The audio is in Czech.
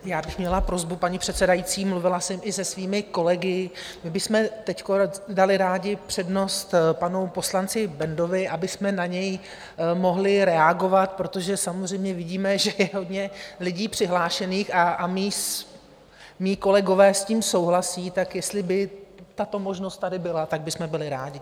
Já bych měla prosbu, paní předsedající, mluvila jsem i se svými kolegy - my bychom teď dali rádi přednost panu poslanci Bendovi, abychom na něj mohli reagovat, protože samozřejmě vidíme, že je hodně lidí přihlášených, a mí kolegové s tím souhlasí, tak jestli by tato možnost tady byla, tak bychom byli rádi.